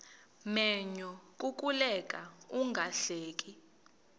menyo kukuleka ungahleki